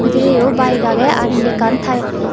bidireyo bayek agey ar indi ekkan tai.